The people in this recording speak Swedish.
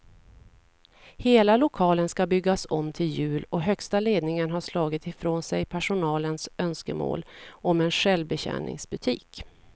Hela lokalen ska byggas om till jul och högsta ledningen har slagit ifrån sig personalens önskemål om en självbetjäningsbutik.